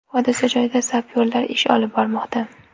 Hodisa joyida sapyorlar ish olib bormoqda.